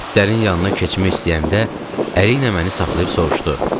İtlərin yanına keçmək istəyəndə əli ilə məni saxlayıb soruşdu: